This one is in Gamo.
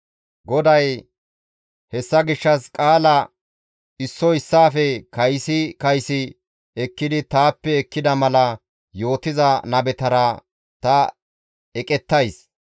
GODAY, «Hessa gishshas qaala issoy issaafe kaysi kaysi ekkidi taappe ekkida mala yootiza nabetara ta eqettays.